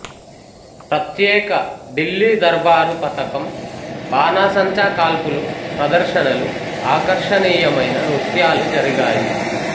ప్రత్యేక ఢిల్లీ దర్బారు పతకం బాణాసంచా కాల్పులు ప్రదర్శనలు ఆకర్షణీయమైన నృత్యాలూ జరిగాయి